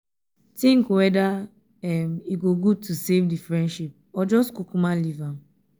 tink weda um e go gud to safe um di friendship or jus kukuma leave am